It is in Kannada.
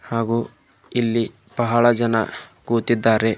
ಹಾಗೂ ಇಲ್ಲಿ ಬಹಳ ಜನ ಕುತಿದ್ದಾರೆ.